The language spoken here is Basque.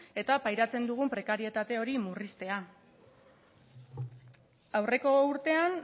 eta pairatzen dugun prekarietate hori murriztea aurreko urtean